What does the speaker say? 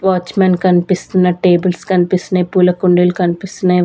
Watchman కనిపిస్తున్న tables కనిపిస్తున్నయ్ పూల కుండీలు కనిపిస్తున్నాయి.